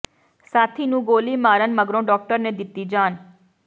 ਸਾਥੀ ਨੂੰ ਗੋਲੀ ਮਾਰਨ ਮਗਰੋਂ ਡਾਕਟਰ ਨੇ ਦਿੱਤੀ ਜਾਨ